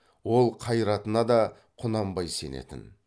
ол қайратына да құнанбай сенетін